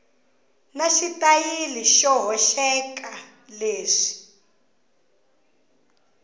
na xitayili xo hoxeka leswi